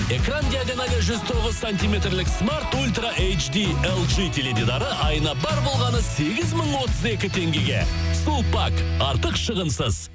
экран диагоналы жүз тоғыз сантиметрлік смарт ультра теледидары айына бар болғаны сегіз мың отыз екі теңгеге сулпак артық шығынсыз